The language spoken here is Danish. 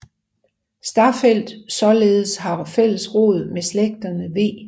Staffeldt således har fælles rod med slægterne v